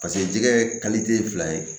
Paseke jɛgɛ ye fila ye